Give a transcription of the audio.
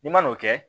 I man'o kɛ